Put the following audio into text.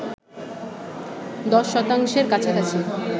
১০ শতাংশের কাছাকাছি